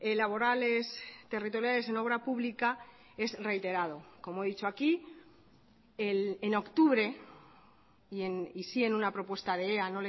laborales territoriales en obra pública es reiterado como he dicho aquí en octubre y sí en una propuesta de ea